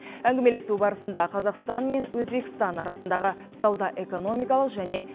әңгімелесу барысында қазақстан мен өзбекстан арасындағы сауда экономикалық және